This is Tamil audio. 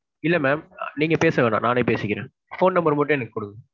இல்ல mam நீங்க பேச வேணாம். நானே பேசிக்கிறேன். phone number மட்டும் எனக்கு குடுங்க.